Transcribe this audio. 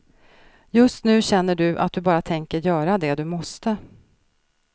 Just nu känner du att du bara tänker göra det du måste.